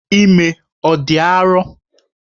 Ime ọ dị arọ?